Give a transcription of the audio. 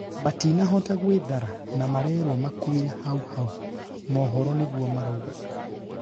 matinahota gwĩthara na marerwo makuire haũ haũ'" mohoro nĩguo maraugaga.